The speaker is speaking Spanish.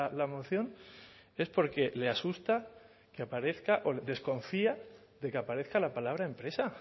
la moción es porque le asusta que aparezca o desconfía de que aparezca la palabra empresa